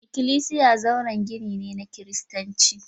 Ikklisiya zauren gini ne na Kiristanci